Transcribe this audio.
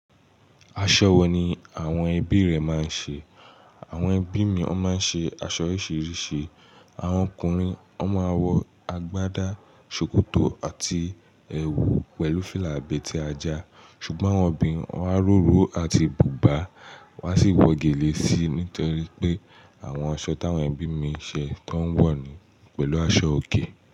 Aṣọ wo ni àwọn ẹbí rẹ máa ń ṣe? Àwọn ẹbí mi wọ́n máa ń ṣe aṣọ oríṣiríṣi. Àwọn ọkùnrin, wọ́n máa ń wọ agbádá, ṣòkòtò àti ẹwù pẹ̀lú fìlà abẹ́ tí a já. Ṣùgbọ́n àwọn obìnrin, wọ́n á róró àti bùbá, wọ́n á sì wọ gèlè síi nítorí pé àwọn aṣọ táwọn ẹbí mi ń ṣe tó ń wọ̀ ni pẹ̀lú aṣọòkè.